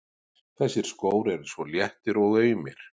Þessir skór eru svo léttir og aumir.